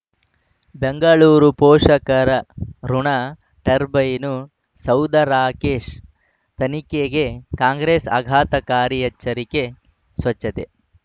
ಬೆಂಗಳೂರು ಪೋಷಕರಋಣ ಟರ್ಬೈನು ಸೌಧ ರಾಕೇಶ್ ತನಿಖೆಗೆ ಕಾಂಗ್ರೆಸ್ ಆಘಾತಕಾರಿ ಎಚ್ಚರಿಕೆ ಸ್ವಚ್ಛತೆ